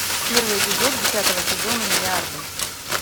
первый эпизод десятого сезона миллиарды